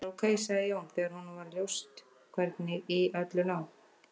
Það var ok, sagði Jón, þegar honum var ljóst hvernig í öllu lá.